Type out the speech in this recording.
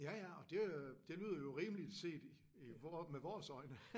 Ja ja og det øh det lyder jo rimeligt set i med vores øjne